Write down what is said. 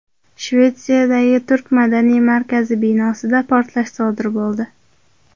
Shvetsiyadagi turk madaniy markazi binosida portlash sodir bo‘ldi.